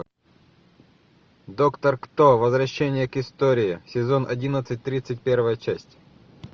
доктор кто возвращение к истории сезон одиннадцать тридцать первая часть